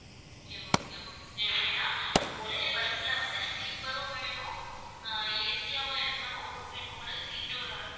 okay okay எப்படின்னா ஒரே bus ல வந்து sleeper ம் வேணும் ஆஹ் AC யாவும் இருக்கணும் உங்களுக்கு seat ம்